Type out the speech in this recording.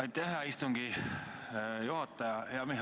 Aitäh, hea istungi juhataja!